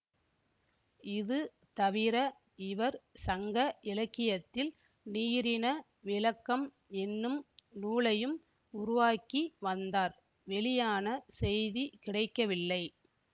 இது தவிர இவர் சங்க இலக்கியத்தில் நீரின விளக்கம் என்னும் நூலையும் உருவாக்கி வந்தார் வெளியான செய்தி கிடைக்கவில்லை